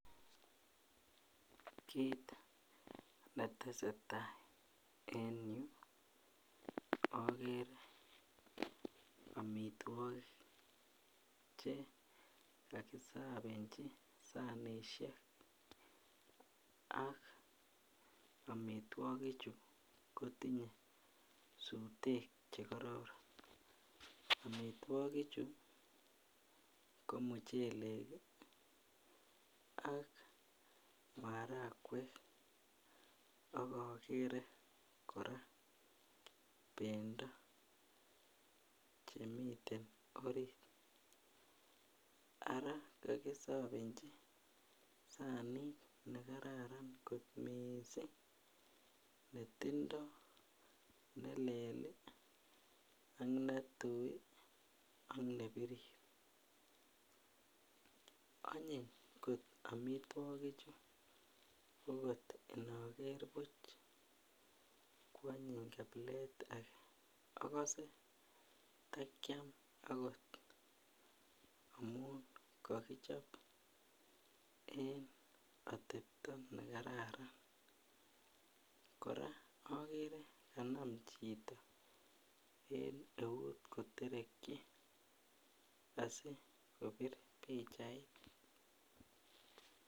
Kit netesetai eng yuu ogere omitwogik che kokisobenji sanisiek ak omitwogichu kotinye sutek che kororon. Omitwogichu ko muchelek iih ak marakwek ak ogere korak bendo chemiten orit ara kakisobenji sanit nekararan kot miiising netindo nelel ak netui ak nebirir onyiny kot omitwogichu agot indoger buch kwonyiny kabilet age okose takiam okot amun kokichob eng otepto nekararan korak ogere kanam chito eng eut kotereki asi kobir pichait.